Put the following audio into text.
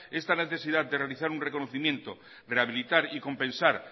esta necesidad de realizar un reconocimiento rehabilitar y compensar